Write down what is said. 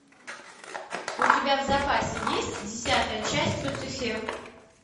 у тебя в запасе есть десятая часть люцифер